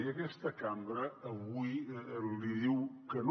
i aquesta cambra avui li diu que no